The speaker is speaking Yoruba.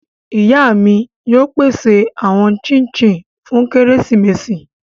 Iya mi yóò pese awọn chik chin fun keresimesi